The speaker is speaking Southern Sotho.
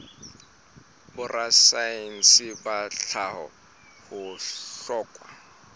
borasaense ba tlhaho ho hlokwa